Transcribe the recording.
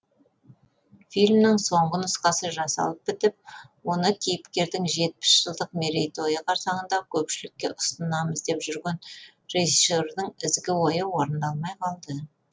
фильмнің соңғы нұсқасы жасалып бітіп оны кейіпкердің жетпіс жылдық мерейтойы қарсаңында көпшілікке ұсынамыз деп жүрген режиссердің ізгі ойы орындалмай қалды